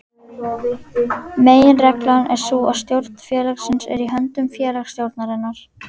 Meginreglan er sú að stjórn félagsins er í höndum félagsstjórnarinnar.